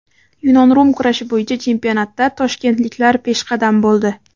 Yunon-rum kurashi bo‘yicha chempionatda toshkentliklar peshqadam bo‘ldi.